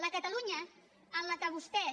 la catalunya en què vostès